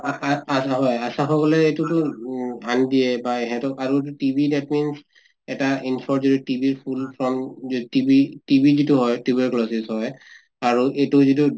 ASHA সকলে এইতোটো um আনি দিয়ে বা হেঁতক আৰু TB that means এতা info যদি TB ৰ full form যে TB যিটো হয় tuberculosis হয় আৰু এইটো যিটো